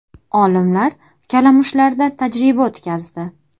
Olimlar kalamushlarda tajriba o‘tkazdi.